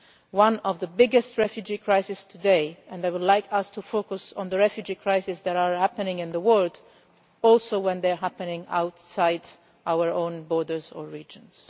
It is one of the biggest refugee crises today, and I would like us to focus on the refugee crises that are happening in the world even when they are happening outside our own borders or regions.